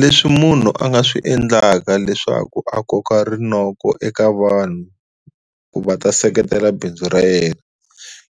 Leswi munhu a nga swi endlaka leswaku a koka rinoko eka vanhu ku va ta seketela bindzu ra yena